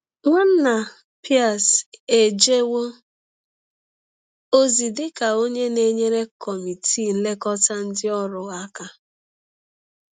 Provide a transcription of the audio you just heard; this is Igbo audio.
Nwanna Pierce ejewo ozi dị ka onye na-enyere Kọmitii Nlekọta Ndị Ọrụ aka.